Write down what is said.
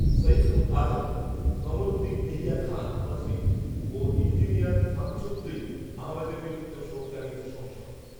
সাইফুল আজম, কমরুদ্দিন এহিয়া খান মজলিস ও ইঞ্জিনিয়ার শামছউদ্দিন আহমেদের মৃত্যুতেও শোক জানিয়েছে সংসদ